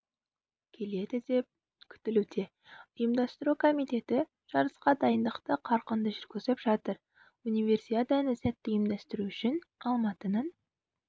келеді деп күтілуде ұйымдастыру комитеті жарысқа дайындықты қарқынды жүргізіп жатыр универсиаданы сәтті ұйымдастыру үшін алматының